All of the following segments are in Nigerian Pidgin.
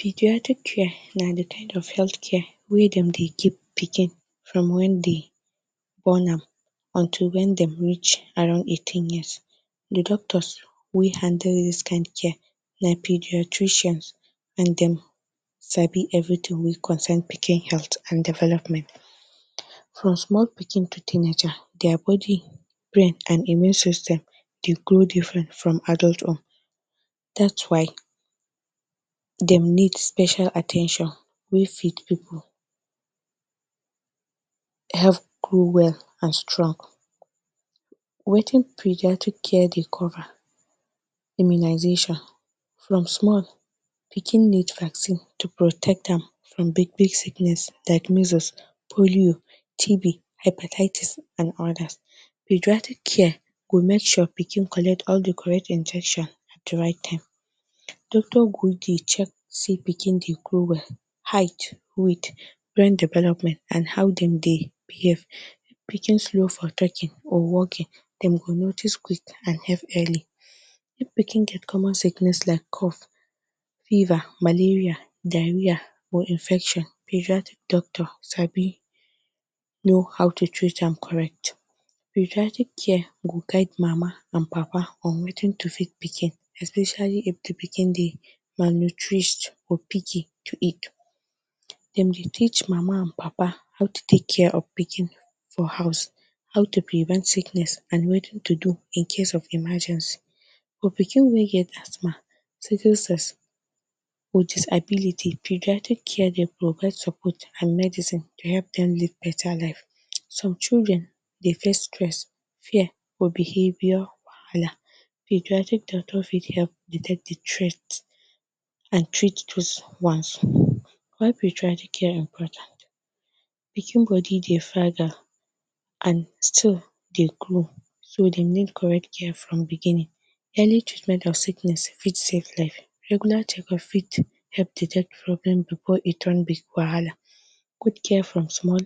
Paediatric care na the kind of health care wey dem dey give pikin from when dey born am until when dem reach around 18 years the doctors wey handle this kin care na pediatricians and them sabi everything wey concern pikin health and development from small pikin to teenager their body, brain and immune system dey grow different from adult own that’s why them need special at ten tion wey fit people help grow well and strong wetin paediatric care dey cover? Immunization from small pikin need vaccine to protect am from big big sickness like measles, polio, tb, hypertietis and others. Paediatric care go make sure pikin collect all the correct injection at the right time, doctor go dey check sey pikin they grow well height, weight and brain development and how them they behave, if pikin slow for talking or walking them go notice quick and help early if pikin get common sickness like cough, fever, malaria, diarhea or infection. Paediatric doctor sabi know how to treat am correct, paediatric care go guide mama and papa on wetin to feed pikin especially if the pikin they malnourish or picky to eat dem dey teach mama and papa how to take care of pikin for house, how to prevent sickness and wetin to do incase of emergency for pikin wey get asthma sickle cell or disability. Paediatric care they provide support and medicine to help dem live better life some children dey face stress, fear or behavior wahala, paediatric doctor fit help detect the threat and treat does ones. Why paediatric care important, pikin body dey fragile and still dey grow so dey need correct care from beginning, early treatment of sickness fit save life, regular check up fit help detect problems before it turns big wahala, good care from small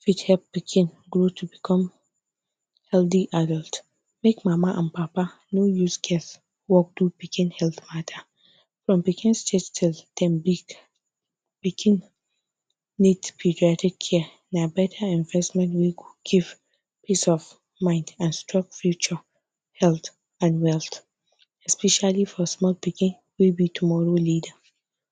fit help pikin grow to become healthy adult, make mama and papa no use scarcework do pikin help matter from pikin stage till dem big pikin need paediatric care na better investment wey go give peace of mind and strong future health and wealth especially for small pikin wey be tomorrow leader.